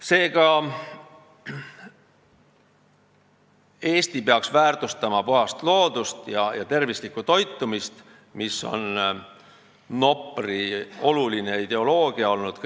Seega, Eesti peaks väärtustama puhast loodust ja tervislikku toitumist, mis on kõik need aastad Nopri oluline ideoloogia olnud.